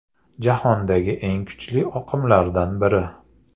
Jahondagi eng kuchli oqimlardan biri.